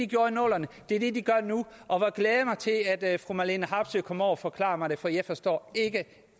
gjorde i nullerne og det er det de gør nu og jeg glæder mig til at fru marlene harpsøe kommer over og forklarer mig det for jeg forstår ikke